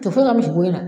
Tɛ foyi kɛ misiko la